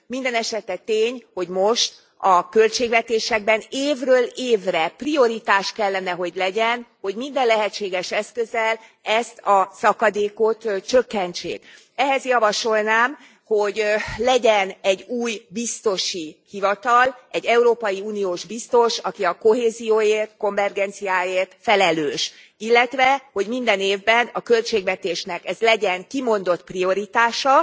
Mindenesetre tény, hogy most a költségvetésekben évről évre prioritás kellene, hogy legyen, hogy minden lehetséges eszközzel ezt a szakadékot csökkentsék. Ehhez javasolnám, hogy legyen egy új biztosi hivatal, egy európai uniós biztos, aki a kohézióért, konvergenciáért felelős, illetve hogy minden évben a költségvetésnek ez legyen kimondott prioritása,